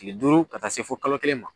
Kile duuru ka taa se fo kalo kelen ma.